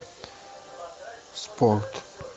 спорт